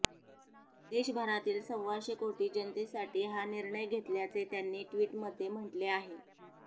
देशभरातील सव्वाशे कोटी जनतेसाठी हा निर्णय घेतल्याचे त्यांनी ट्विटमध्ये म्हटले आहे